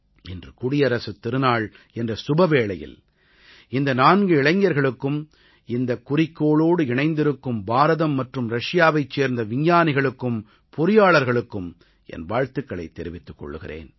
இன்று குடியரசுத் திருநாள் என்ற சுபவேளையில் இந்த நான்கு இளைஞர்களுக்கும் இந்த குறிக்கோளோடு இணைந்திருக்கும் பாரதம் மற்றும் ரஷியாவைச் சேர்ந்த விஞ்ஞானிகளுக்கும் பொறியாளர்களுக்கும் என் வாழ்த்துக்களைத் தெரிவித்துக் கொள்கிறேன்